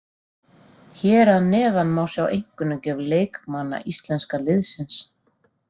Hér að neðan má sjá einkunnagjöf leikmanna íslenska liðsins.